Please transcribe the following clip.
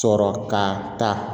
Sɔrɔ ka ta